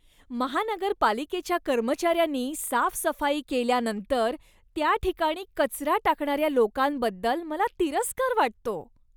महानगरपालिकेच्या कर्मचाऱ्यांनी साफसफाई केल्यानंतर त्या ठिकाणी कचरा टाकणाऱ्या लोकांबद्दल मला तिरस्कार वाटतो.